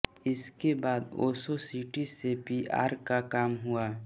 इसके बाद ओशो सिटी से पीआर का काम हुआ